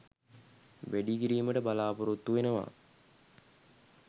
වැඩි කිරීමට බලා‍පොරොත්තු වෙනවා.